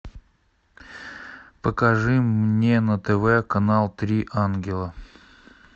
покажи мне на тв канал три ангела